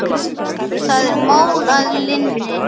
Það er mál að linni!